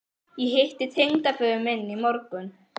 Ég hitti tengdaföður minn í morgun